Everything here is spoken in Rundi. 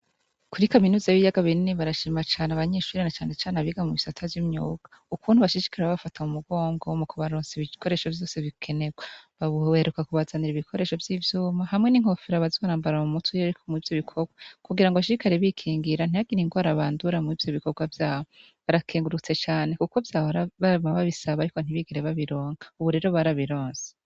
Kuri kaminuza b'iyaga binini barashimacane abanyeshuriana canecane abiga mu isata vy'imyuka ukuntu bashishikara babafata mu mugongo mu kubarontsiiba ibikoresho vyose bikenerwa babuberuka kubazanira ibikoresho vy'ivyuma hamwe n'inkofero abazorambara mu muti io, ariko mu'vyo bikorwa kugira ngo ashikari bikingira ntihagiriye ngo arabandura mw'ivyo bikorwa vyawe barakengurutse cane yabra barama babisaba, ariko ntibigere babironka, ubu rero barabironse.